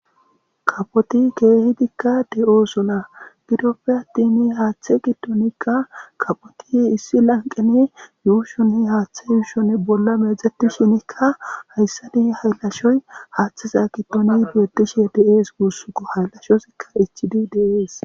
Kaapotte kehidikka de'osona gidoppekka attin haththe giddonikka kaapotti issi laniqqenni ushshonni haththe ushshonni bolla meecetishshinnkka hayissanni hayilashoyi haththezza giddonni betishshe de'es.